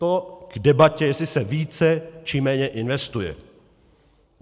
To k debatě, jestli se více, či méně investuje.